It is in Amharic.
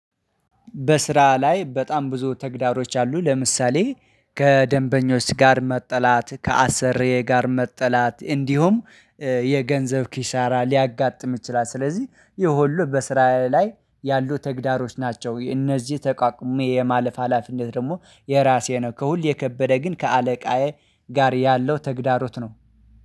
በስራ ላይ በጣም ብዙ ተግዳሮች አሉ። ለምሳሌ ከደንበኞች ጋር መጥላት ከአሰርዬ ጋር መጥላት እንዲሁም የገንዘብ ኪሻራ ሊያጋጥም ይችላል። ስለዚህ ይሄ ሁሉ በስራ ላይ ያሉ ተግዳሮች ናቸው። እነዚህ ተቃቁሜ የማለፍ ሀላፊነት ደግሞ የራሴ ነው። ከሁል የከበደ ግን ከአለቃዬ ጋር ያለው ተግዳሮት ነው።